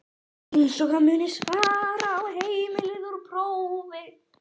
Eins og að muna svarið á heimleið úr prófi?